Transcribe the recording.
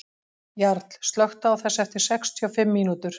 Jarl, slökktu á þessu eftir sextíu og fimm mínútur.